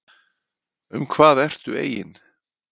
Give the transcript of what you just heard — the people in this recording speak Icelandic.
Um hvað ertu eigin